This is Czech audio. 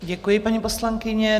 Děkuji, paní poslankyně.